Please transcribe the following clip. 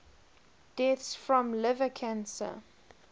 deaths from liver cancer